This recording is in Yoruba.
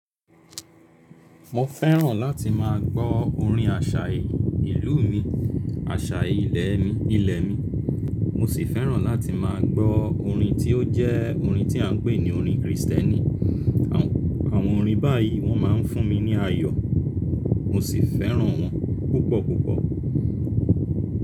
Mo fẹ́ràn láti má a gbọ́ orin àṣà ìlú mi, àṣà ilẹ̀ mi. Mo sì fẹ́ràn láti má a gbọ́ orin tí ó jẹ́ orin tí à ń pè ní orin Kristẹni. Àwọn orin báyìí wọ́n má a ń fún mi ní ayọ̀ mo sì fẹ́ràn wọn púpọ̀ púpọ̀.